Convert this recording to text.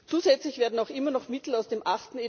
Zusätzlich werden auch immer noch Mittel aus dem